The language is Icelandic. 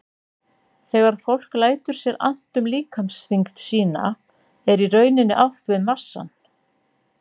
Þegar fólk lætur sér annt um líkamsþyngd sína er í rauninni átt við massann.